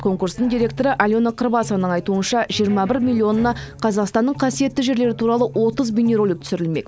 конкурстың директоры алена кырбасованың айтуынша жиырма бір миллионына қазақстанның қасиетті жерлері туралы отыз бейнеролик түсірілмек